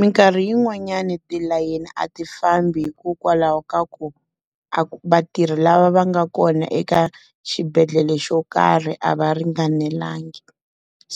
Minkarhi yin'wanyani tilayeni a ti fambi hikokwalaho ka ku, a vatirhi lava va nga kona eka xibedhlele xo karhi a va ringanelangi.